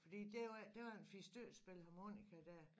Fordi der var der var en fire stykker der spiller harmonika dér